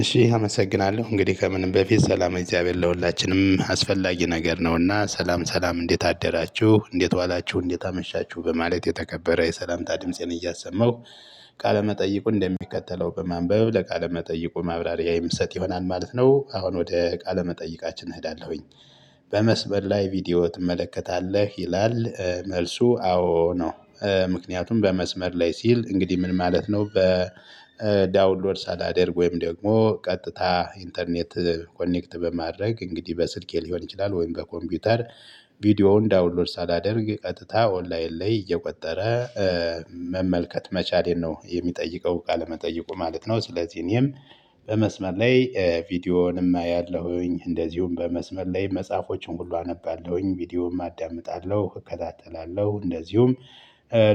እሺ አመሰግናለሁ። እንግዲህ ከምንም በፊት ሰላመ እግዚአብሔር ለሁላችንም አስፈላጊ ነገር ነውና ሰላም ሰላም እንዴት አደራችሁ? እንዴት ዋላችሁ? እንዴት አመሻችሁ? በማለት የተከበረ የሰላምታ ድምፄን እያሰማሁ ቃለመጠይቁ እንደሚከተለው በማንበብ ለቃለ መጠይቁ ማብራሪያ የምሰጥ ይሆናል ማለት ነው። አሁን ወደ ቃለ መጠይቃችን እሄዳለሁኝ። በመስመር ላይ ቪዲዮ ትመለከታለህ? ይላል። መልሱ አዎ ነው። ምክንያቱም በመስመር ላይ ሲል እንግዲህ ምን ማለት ነው? በዳውንሎድ ሳላዳደር ወይም ደግሞ ቀጥታ ኢንተርኔት ኮኔክት በማድረግ እንግዲህ በስልኬ ሊሆን ይችላል ወይም በኮምፒውተር ቪዲዮውን ዳውንሎድ ሳላደርግ ቀጥታ ኦንላይን ላይ እየቆጠረ መመልከት መቻሌን ነው የሚጠይቀው መጠይቁ ማለት ነው። ስለዚህ እኔም በመስመር ላይ ቪዲዮውንም አያለሁኝ፤ እንደዚሁም በመስመር ላይ መጽሐፎችን ሁሉ አነባለሁኝ፤ ቪዲዮም አዳምጣለሁ እከታተላለሁ፤ እንደዚሁም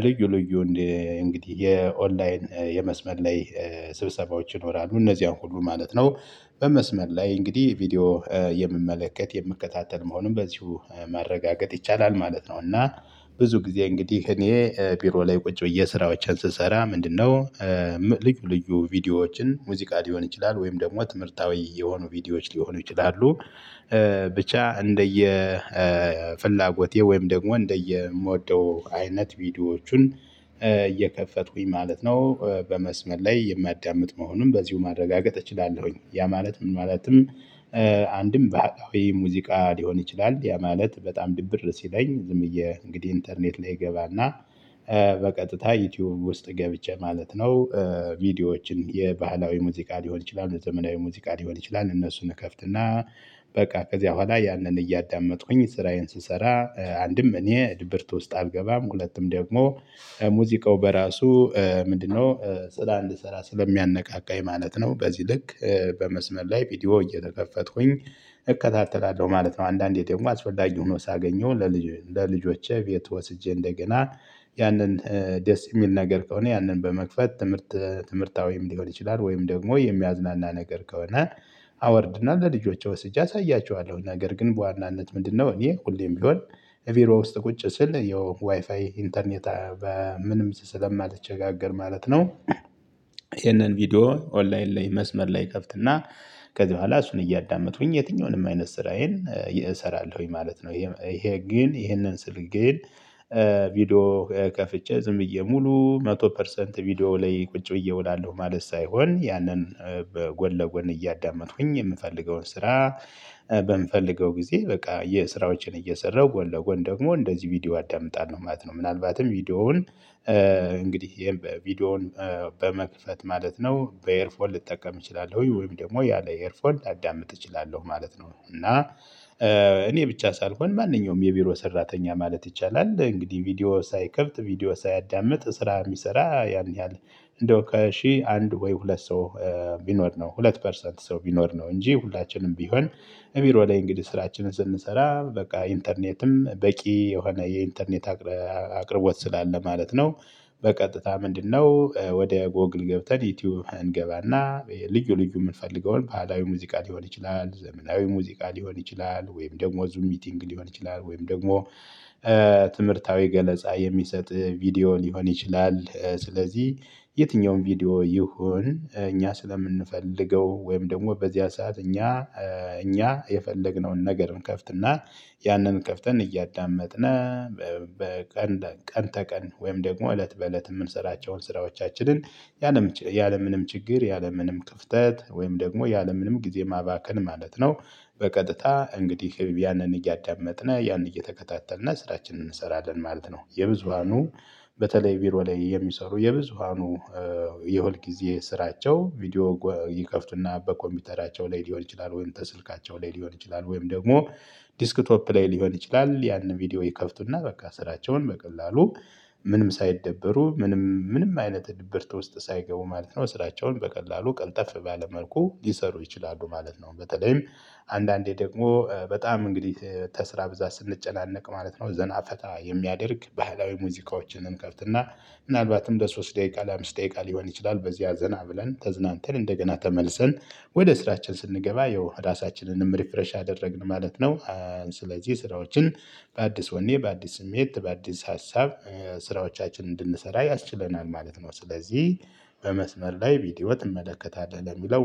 ልዩ ልዩ እንግዲህ የኦንላይን የመስመር ላይ ስብሰባዎች ይኖራሉ፤ እነዚህን ሁሉ ማለት ነው። በመስመር ላይ እንግዲህ ቪዲዮ የምመለከት የምከታተል መሆኑን በዚሁ ማረጋገጥ ይቻላል ማለት ነው። እና ብዙ ጊዜ እንግዲህ እኔ ቢሮ ላይ ቁጭ ብዬ ስራዎችን ስሰራ ምንድነው? ልዩ ልዩ ቪዲዮዎችን ሙዚቃ ሊሆን ይችላል ወይም ደግሞ ትምህርታዊ የሆኑ ቪዲዮዎች ሊሆኑ ይችላሉ፤ ብቻ እንደየ ፍላጎቴ ወይም ደግሞ እንደየምወደው አይነት ቪዲዮዎቹን እየከፈቱኝ ማለት ነው በመስመር ላይ የማዳምጥ መሆኑን በዚሁ ማረጋገጥ እችላለሁኝ። ያ ማለት ምን ማለትም አንድም ባህላዊ ሙዚቃ ሊሆን ይችላል። ያ ማለት በጣም ድብር ሲለኝ ዝምዬ እንግዲህ ኢንተርኔት ላይ እገባና በቀጥታ ዩቲዩብ ውስጥ ገብቼ ማለት ነው ቪዲዮዎችን የባህላዊ ሙዚቃ ሊሆን ይችላል የዘመናዊ ሙዚቃ ሊሆን ይችላል እነሱን እከፍትና በቃ ከዚያ በኋላ ያንን እያዳመጥኩኝ ስራዬን ስሰራ አንድም እኔ ድብርት ውስጥ አልገባም። ሁለቱም ደግሞ ሙዚቃው በራሱ ምንድነው ስር እንድሰራ ስለሚያነቃቃ የማለት ነው። በዚህ ልክ በመስመር ላይ ቪዲዮ እየተከፈቱኝ እከታተላለሁ ማለት ነው። አንዳንዴ ደግሞ አስፈላጊ ሆኖ ሳገኘው ለልጅ ለልጆቼ ቤት ወስጄ እንደገና ያንን ደስ የሚል ነገር ከሆነ ያንን በመክፈት ትምህርት ትምህርታዊም ወይም ሊሆን ይችላል ወይም ደግሞ የሚያዝናና ነገር ከሆነ አወርድና ለልጆቼ ወስጄ አሳያችኋለሁ። ነገር ግን በዋናነት ምንድነው እኔ ሁሌም ቢሆን እቢሮ ውስጥ ቁጭ ስል የዋይፋይ ኢንተርኔት በምንም ስለማትቸጋገር ማለት ነው ይሄንን ቪዲዮ ኦንላይን ላይ መስመር ላይ ከፍትና ከዚህ በኋላ እሱን እያዳመጡኝ የትኛውንም አይነት ስራዬን እሰራለሁኝ ማለት ነው። ይሄ ግን ይሄንን ስል ግን ቪዲዮ ከፍቼ ዝም ብዬ ሙሉ መቶ ፐርሰንት ቪዲዮ ላይ ቁጭ ብዬ እውላለሁ ማለት ሳይሆን ያንን በጎን ለጎን እያዳመጥኩኝ የምፈልገውን ስራ በምፈልገው ጊዜ በቃ የስራዎችን እየሰራሁ ጎን ለጎን ደግሞ እንደዚህ ቪዲዮ አዳምጣለሁ ማለት ነው። ምናልባትም ቪዲዮውን እንግዲህ ይሄን ቪዲዮውን በመክፈት ማለት ነው በኤርፎልን ልጠቀም እችላለሁ፤ ወይም ደግሞ ያለ ኤርፎልን ላዳምጥ እችላለሁ ማለት ነው። እና እኔ ብቻ ሳልሆን ማንኛውም የቢሮ ሰራተኛ ማለት ይቻላል እንግዲህ ቪዲዮ ሳይከፈት ቪዲዮ ሳያዳምጥ ስራ የሚሰራ ያን ያህል እንደው ከሺህ አንድ ወይ ሁለት ሰው ቢኖር ነው። ሁለት ፐርሰንት ሰው ቢኖር ነው። እንጂ ሁላችንም ቢሆን ቢሮ ላይ እንግዲህ ስራችንን ስንሰራ በቃ ኢንተርኔትም በቂ የሆነ የኢንተርኔት አቅርቦት ስላለ ማለት ነው በቀጥታ ምንድነው ወዲያው ጎግል ገብተን ዩቲዩብ እንገባና ልዩ ልዩ የምንፈልገውን ባህላዊ ሙዚቃ ሊሆን ይችላል ዘመናዊ ሙዚቃ ሊሆን ይችላል ወይም ደግሞ ዙም ሚቲንግ ሊሆን ይችላል ወይም ደግሞ ትምህርታዊ ገለጻ የሚሰጥ ቪዲዮ ሊሆን ይችላል። ስለዚህ የትኛውም ቪዲዮ ይሁን እኛ ስለምንፈልገው ወይም ደግሞ በዚያ ሰዓት እኛ እኛ የፈለግነውን ነገር እንከፍትና ያንን ከፍተን እያዳመጥን በቀን ቀን ተቀን ወይም ደግሞ እለት በእለት የምንሰራቸውን ስራዎቻችንን ያለምንም ችግር ያለምንም ክፍተት ወይም ደግሞ ያለምንም ጊዜ ማባከን ማለት ነው በቀጥታ እንግዲህ ያንን እያዳመጥን ያንን እየተከታተልን ስራችንን እንሰራለን ማለት ነው። የብዙሃኑ በተለይ ቢሮ ላይ የሚሰሩ የብዙሃኑ የሁልጊዜ ስራቸው ቪዲዮ ይከፍቱና በኮምፒውተራቸው ላይ ሊሆን ይችላል ወይም ከስልካቸው ላይ ሊሆን ይችላል ወይም ደግሞ ዲስክቶፕ ላይ ሊሆን ይችላል። ያንን ቪዲዮ ይከፍቱና በቃ ስራቸውን በቀላሉ ምንም ሳይደበሩ ምንም ምንም አይነት ድብርት ውስጥ ሳይገቡ ማለት ነው ስራቸውን በቀላሉ ቀልጠፍ ባለ መልኩ ሊሰሩ ይችላሉ ማለት ነው። በተለይም አንዳንዴ ደግሞ በጣም እንግዲህ ተስራ ብዛት ስንጨናነቅ ማለት ነው ዘና ፈታ የሚያደርግ ባህላዊ ሙዚቃዎችን እንከፍትና ምናልባትም ለሶስት ደቂቃ ለአምስት ደቂቃ ሊሆን ይችላል በዚህ ዘና ብለን ተዝናንተን እንደገና ተመልሰን ወደ ስራችን ስንገባ ያው ራሳችንንም ሪፍሬሽ አደረግን ማለት ነው። ስለዚህ ስራዎችን በአዲስ ወኔ በአዲስ ስሜት በአዲስ ሀሳብ ስራዎቻችን እንድንሰራ ያስችለናል ማለት ነው። ስለዚህ በመስመር ላይ ቪዲዮ ትመለከታለህ? ለሚለው